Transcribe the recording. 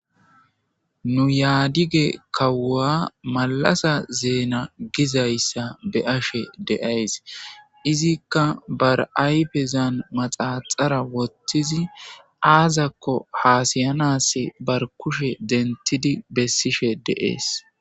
Nu yaadige kawua malasa zeena gizayssa be ashe deays izikka bar'ayfezan maxaaxara wottizi aazakko haasayanass bar kushe dentidi bessishe deees.